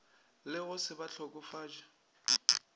le go se ba hlokofatše